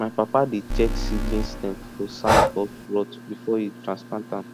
my papa dey check seedling stem for sign of rot before e transplant am